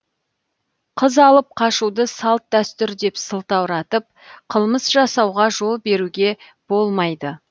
қыз алып қашуды салт дәстүр деп сылтауратып қылмыс жасауға жол беруге болмайды